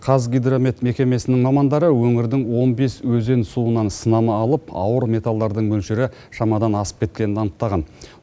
қазгидромет мекемесінің мамандары өңірдің он бес өзен суынан сынама алып ауыр металлдардың мөлшері шамадан асып кеткенін анықтаған